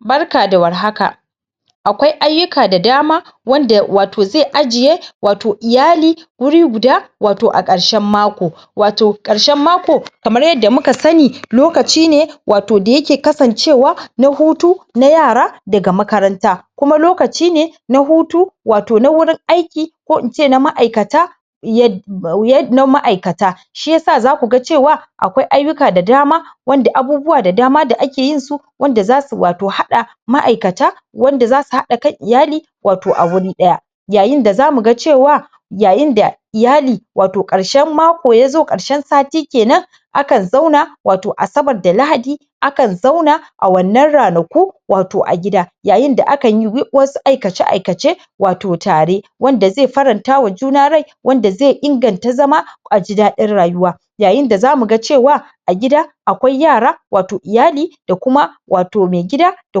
Barka da Warhaka akwai ayyuka da dama,, wanda wato zai ajiye wato iyali wuri guda wato a karshen mako Wato karshen mako Kamar yadda muka sani lokacine wato dayake kasancewa hutu na yara daga makaranta kuma lokaci ne na hutu wato na wurin aiki ko ince ma'aikata "yad yadd" na ma'aikata Shiyasa zakuga cewa akwai ayyuka da dama wanda abubuwa da dama da ake yinsu wanda zasu wato hada ma’aikata wanda zasu hada kan iyali wato awuri daya yayinda zamuga Cewa yayin da yali wato Karshen mako yazo kanshen sa Sati Kenan a kan zauna wato asabar da lahadi, a kan zauna a wannan ranaku wato a gida. yayin da akan yi wasu aikace - aikace wato tare, wanda zai faranta wa juna rai wanda zai inganta zama a ji dadin rayuwa yayin da zamu ga cewa a gida akwai yara wato iyali da kuma wato mai gida da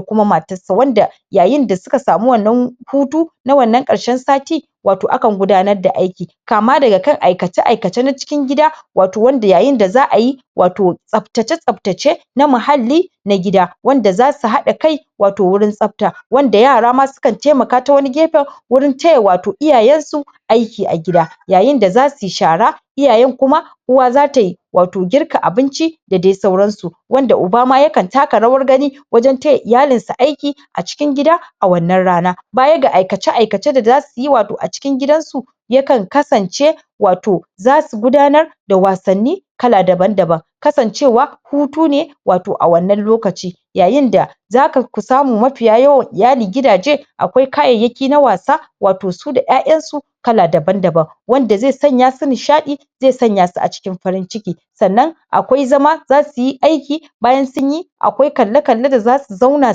kuma matarsa wanda yayin da suka samu wannan hutu na wannan karshen sati wato akan gudanar da aiki kama daga kan aikace-aikace na cikin gida wato wanda yayin da za ayi wato tsabtace tsabtace na muhalli na gida wanda za ka hada kai wato wurin tsabta wanda yara ma su kan taimaka ta wani gefen wurin taya wato iyayen su aiki a gida. yayin da za suyi shara, iyayen kuma uwa za tayi wato girka abinci da dai sauran su. wanda uba ma ya kan taka rawar gani wajan taya iyalin sa aiki a cikin gida, a wannan rana bayar ga aikace aikace da suyi wato a cikin gidan su. ya kan kasance wato zasu gudanar da wasanni kala daban daban, kasancewa hutu ne wato a wannan lokaci. yayin da zaka fi samun mafiya yawan iyalin gidaje akwai kayayyaki na wasa wato su da ya'yan su kala daban daban. wanda zai sanya su nishadi zai sanya su a cikin farin ciki. sannan akwai zama zasuyi aiki bayan sun yi akwai kalle kalle da zasu zauna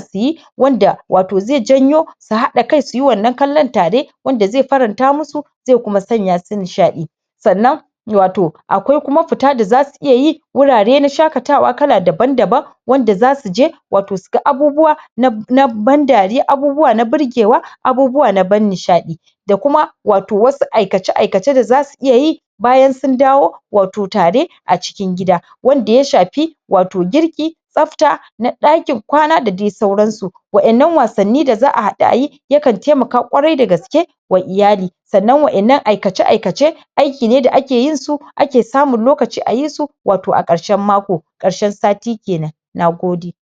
suyi wanda wato zai janyo su hada kai suyi wannan kallon tare wanda zai faranta musu zai kuma sanya su nishadi. sannan wato akwai kuma fita da zasu iya yi wurare na shakatawa kala daban daban, wanda zasu je wato su ga abubuwa na ban dariya, abubuwa na burgewa, abubuwa na ban nishadi. da kuma wato wasu aikace- aikace da zasu iya yi bayan sun dawo wato tare a cikin gida. wanda ya shafi wato girki, tsabta, na dakin kwana da dai sauran su. wadannan wasanni da za a hadu ayi ya kan taimaka kwarai da gaske wa iyali. sannan wadannan aikace-aikace aiki ne da ake yin su, a ke samun lokaci a yi su wato a karshen mako, karshen sati kenan. nagode.